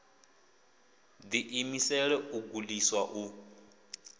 ḓi imisela u gudiswa u